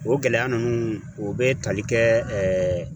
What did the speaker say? O gɛlɛya ninnu o bɛ tali kɛ